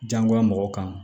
Diyagoya mɔgɔ kan